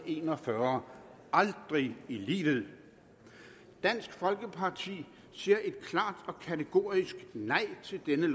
en og fyrre aldrig i livet dansk folkeparti siger et klart og kategorisk nej til dette